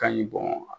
Ka ɲi